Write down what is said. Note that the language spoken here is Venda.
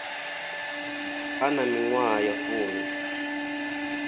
a na miṅwaha ya fumi